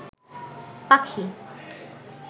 পাখি